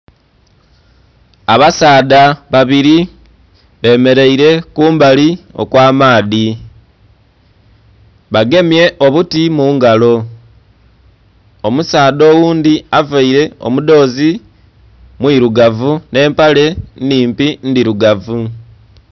Abasaadha babiri bemereire kumbali okwa maadhi bagemye obuti mungalo omusaadha oghundhi avaire omudhozi mwirugavu nhe empale nnhimpi ndhirugavu..